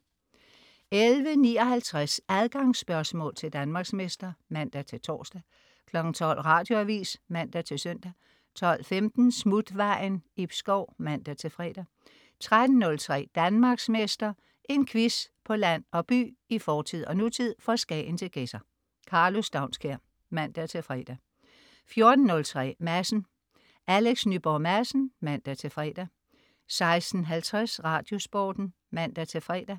11.59 Adgangsspørgsmål til Danmarksmester (man-tors) 12.00 Radioavis (man-søn) 12.15 Smutvejen. Ib Schou (man-fre) 13.03 Danmarksmester. En quiz på land og by, i fortid og nutid, fra Skagen til Gedser. Karlo Staunskær (man-fre) 14.03 Madsen. Alex Nyborg Madsen (man-fre) 16.50 Radiosporten (man-fre)